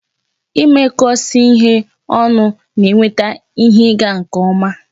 Ịmekọsị ihe ọnụ na eweta ihe ị ga nke ọma